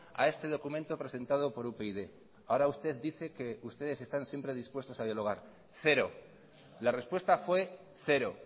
a este documento presentado por upyd ahora usted dice que ustedes están siempre dispuestos a dialogar cero la respuesta fue cero